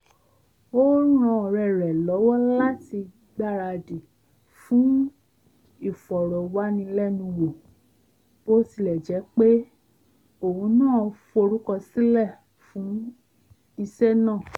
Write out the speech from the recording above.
ó ran ọ̀rẹ́ rẹ̀ lọ́wọ́ láti gbaradì fún ìfọ̀rọ̀wánilẹ́nuwò bó tilẹ̀ jẹ́ pé òun náà forúkọsílẹ̀ fún iṣẹ́ náà